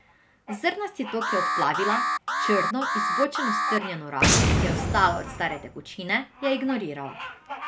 Zrnasti tok je odplavila, črno, izbočeno strnjeno razo, ki je ostala od stare tekočine, je ignorirala.